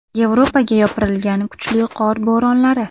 Yevropaga yopirilgan kuchli qor bo‘ronlari.